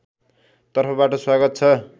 तर्फबाट स्वागत छ